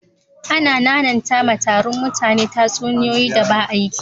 Ana nananta ma tarrun mutane tatsuniyoyi da ba'aki.